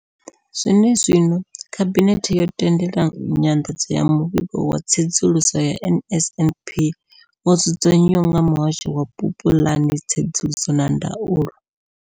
Zwenezwino, Khabinethe yo tendela nyanḓadzo ya Muvhigo wa Tsedzuluso ya NSNP wo dzudzanywaho nga Muhasho wa Vhupulani, Tsedzuluso na Ndaulo.